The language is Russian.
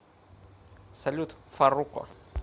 салют фарруко